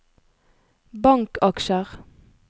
bankaksjer